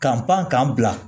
Ka pan k'an bila